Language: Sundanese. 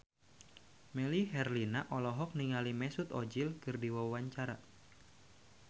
Melly Herlina olohok ningali Mesut Ozil keur diwawancara